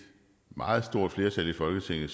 meget stort flertal i folketinget